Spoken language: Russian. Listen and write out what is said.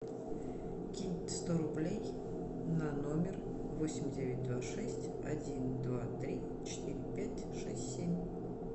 кинь сто рублей на номер восемь девять два шесть один два три четыре пять шесть семь